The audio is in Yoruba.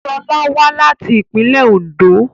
Sola wá láti ìpínlẹ́ Òndó